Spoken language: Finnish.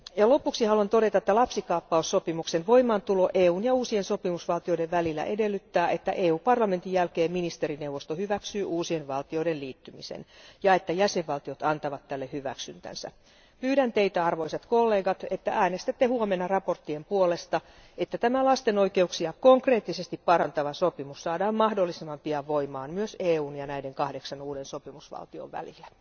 Lopuksi haluan todeta, että lapsikaappaussopimuksen voimaantulo EUn ja uusien sopimusvaltioiden välillä edellyttää, että Euroopan parlamentin jälkeen ministerineuvosto hyväksyy uusien valtioiden liittymisen ja että jäsenvaltiot antavat tälle hyväksyntänsä. Pyydän teitä arvoisat kollegat, niin että äänestätte huomenna mietintöjen puolesta, että tämä lasten oikeuksia konkreettisesti parantava sopimus saadaan mahdollisimman pian voimaan myös EUn ja näiden kahdeksan uuden sopimusvaltion välillä.